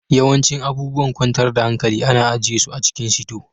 Yawancin abubuwan kwantar da hankali ana ajiye su a cikin sito